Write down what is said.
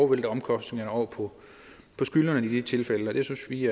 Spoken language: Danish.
vælte omkostningerne over på skyldnerne i de tilfælde det synes vi